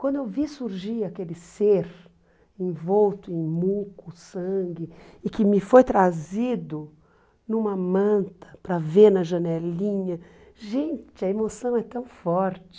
Quando eu vi surgir aquele ser envolto em muco, sangue, e que me foi trazido numa manta para ver na janelinha, gente, a emoção é tão forte.